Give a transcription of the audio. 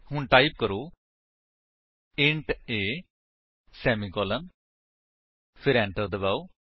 ਹੁਣ ਟਾਈਪ ਕਰੋ int a semicolon ਫਿਰ ਐਂਟਰ ਦਬਾਓ